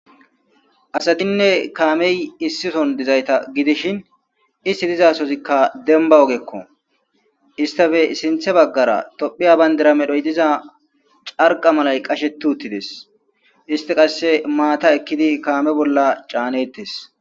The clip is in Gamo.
asatinne kaamey issison dizayta gidishin isti dizasozikka denba ogekko istafe sinthe baggara tophiya bayndira medhoy diza carqa malay qasheti uttides isti qasse maata ekkidi kaame bolla caanettes